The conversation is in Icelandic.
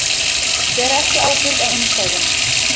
Bera ekki ábyrgð á innstæðum